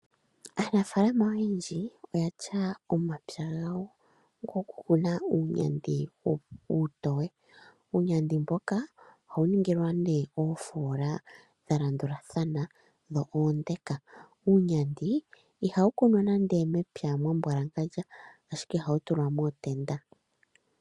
Aanafaalama oyendji oyena omapya gawo gokukuna uunyandi uutoye . Uunyandi mnoka ohawu ningilwa ne oofoola dha landulathana dho oonde. Uunyandi ihawu kunwa nande mepya mwambwalangandja ashike ohawu tulwa mootenda.